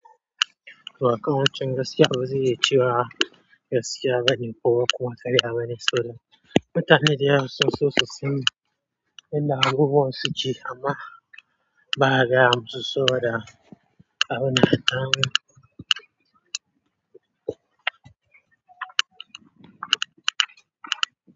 To aka wancan gaskiya bazai iya cewa gaskiya bane ko kuma karya bane sa bo da mutane da yawa sun so su san inda abubuwa suke ama ba gaya musu so bo da abuna kan.